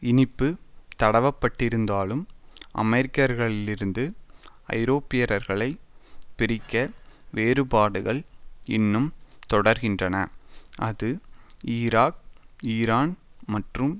இனிப்பு தடவப்பட்டிருந்தாலும் அமெரிக்கர்களிலிருந்து ஐரோப்பியர்களை பிரிக்க வேறுபாடுகள் இன்னும் தொடர்கின்றன அது ஈராக் ஈரான் மற்றும்